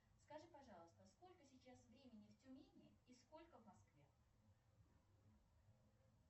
скажи пожалуйста сколько сейчас времени в тюмени и сколько в москве